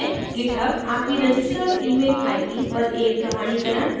github आपकी registered email id पर एक प्रमाणीकरण mail भेजेगा